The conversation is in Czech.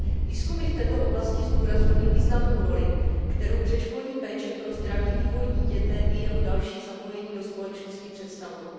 Výzkumy v této oblasti zdůrazňují významnou roli, kterou předškolní péče pro zdravý vývoj dítěte i jeho další zapojení do společnosti představuje.